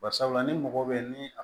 Bari sabula ni mɔgɔ bɛ ni